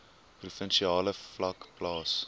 provinsiale vlak plaas